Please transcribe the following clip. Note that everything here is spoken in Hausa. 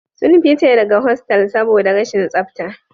Sun fice daga hostal saboda rashin tsafta